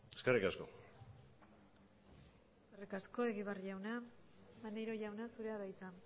eskerrik asko eskerrik asko egibar jauna maneiro jauna zurea da hitza